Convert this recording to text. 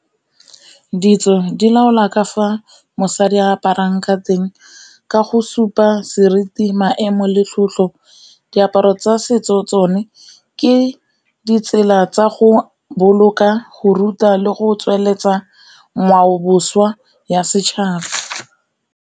Ditso di laola ka fa mosadi aparang ka teng ka go supa seriti, maemo le tlotlo. Diaparo tsa setso tsone ke ditsela tsa go boloka, go ruta le go tsweletsa ngwaoboswa ya setšhaba.